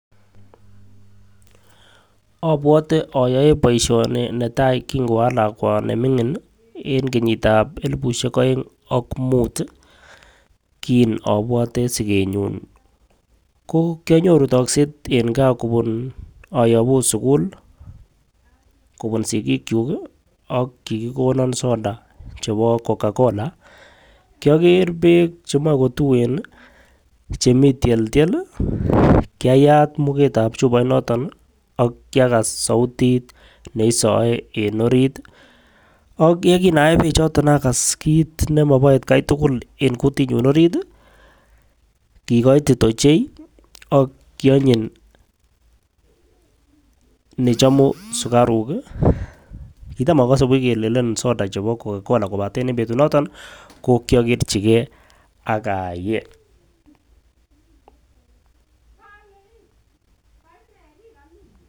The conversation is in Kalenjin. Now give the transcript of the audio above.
Obwote oyoe boishoni netai kin ko alakwa nemingin nii en kenyitab elibushek oeng ak mut tii kin obwote sikenyum ko kionyoru tokset en gaa kobun oyobuu sukul kobun sikichuk kii ak kikikonon soda cheko cocacola kioger beek chemoi kotuen nii chemii tyeldiek kyayat muketab chuboit noton nii ak kyakas soutit neisoe en orit. Ak yekin ayee beek choton akas kit nemobo atgai tukul en kutitnyun orit tii kikoiti ichei ak kionyin nechomu sukaruk kii. Kitam ikose buch kelelen soda chebo coca cola lakini betut noton nii ko kyokerchigee ak ayee.